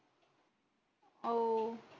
ஓ